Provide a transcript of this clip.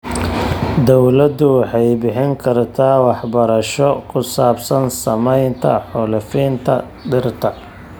Dawladdu waxay bixin kartaa waxbarasho ku saabsan saamaynta xaalufinta dhirta.